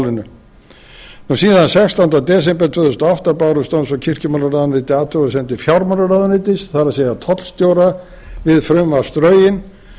málinu síðan sextánda desember tvö þúsund og átta bárust dóms og kirkjumálaráðuneyti athugasemdir fjármálaráðuneytis það er tollstjóra við frumvarpsdrögin